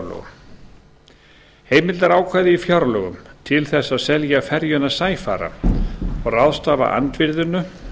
heimildarákvæði í fjárlögum til þess að selja ferjuna sæfara og ráðstafa andvirðinu